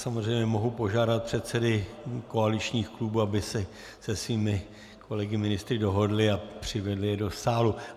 Samozřejmě mohu požádat předsedy koaličních klubů, aby se se svými kolegy ministry dohodli a přivedli je do sálu.